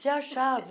se achava.